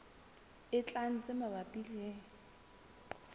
e tlang tse mabapi le